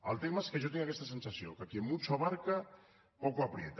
el tema és que jo tinc aquesta sensació que quien mucho abarca poco aprieta